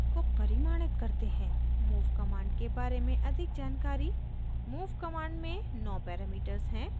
move command के बारे में अधिक जानकारी move command में नौ parameters हैं